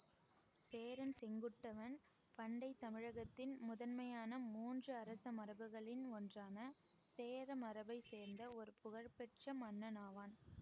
சேரன் செங்குட்டுவன் பண்டை தமிழகத்தின் முதன்மையான மூன்று அரச மரபுகளில் ஒன்றான சேர மரபை சேர்ந்த ஒரு புகழ் பெற்ற மன்னன் ஆவான்